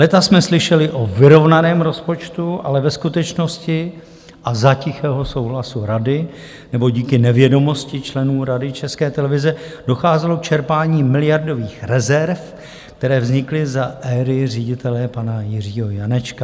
Léta jsme slyšeli o vyrovnaném rozpočtu, ale ve skutečnosti a za tichého souhlasu rady, nebo díky nevědomosti členů Rady České televize, docházelo k čerpání miliardových rezerv, které vznikly za éry ředitele pana Jiřího Janečka.